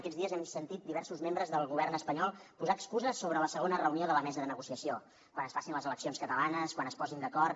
aquests dies hem sentit diversos membres del govern espanyol posar excuses sobre la segona reunió de la mesa de negociació quan es facin les eleccions catalanes quan es posin d’acord